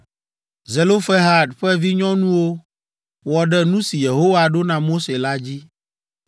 Zelofehad ƒe vinyɔnuwo wɔ ɖe nu si Yehowa ɖo na Mose la dzi.